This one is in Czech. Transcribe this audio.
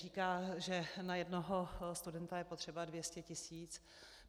Říká, že na jednoho studenta je potřeba 200 tisíc.